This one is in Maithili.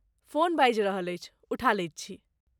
फोन बाजि रहल अछि, उठा लैत छी।